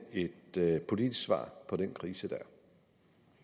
et politisk svar på den krise der